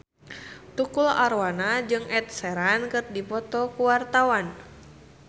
Tukul Arwana jeung Ed Sheeran keur dipoto ku wartawan